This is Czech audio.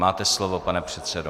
Máte slovo, pane předsedo.